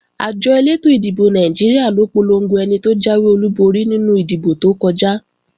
Àjọ elétò ìdìbò Nàìjíríà ló polongo ẹni tó jáwé olúborí nínú ìdìbò tó kọjá